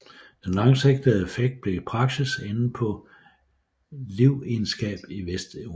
Den langsigtede effekt blev i praksis enden på livegenskab i Vesteuropa